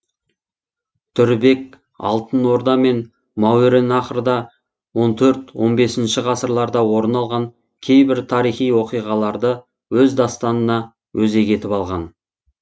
дүрбек алтын орда мен мауреннахрда он төрт он бесінші ғасырларда орын алған кейбір тарихи оқиғаларды өз дастанына өзек етіп алған